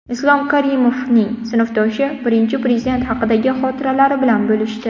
Islom Karimovning sinfdoshi Birinchi Prezident haqidagi xotiralari bilan bo‘lishdi.